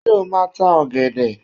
Ṣé o máa tá ọ̀gẹ̀dẹ̀?